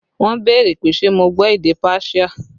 Wọn béèrè pé ṣe mo gbọ́ èdè páṣíà